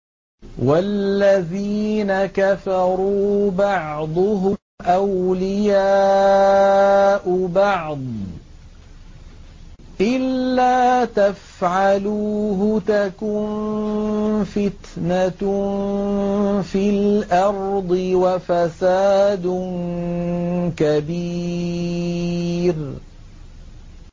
وَالَّذِينَ كَفَرُوا بَعْضُهُمْ أَوْلِيَاءُ بَعْضٍ ۚ إِلَّا تَفْعَلُوهُ تَكُن فِتْنَةٌ فِي الْأَرْضِ وَفَسَادٌ كَبِيرٌ